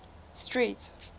street